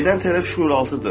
Edən tərəf şüuraltıdır.